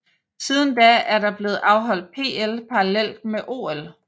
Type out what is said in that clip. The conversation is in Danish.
Siden da er der blevet afholdt PL parallelt med OL